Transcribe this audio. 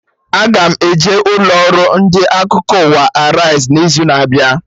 Aga m eje ụlọ ọrụ ndị akụkọ ụwa Arise n'izu na-abịa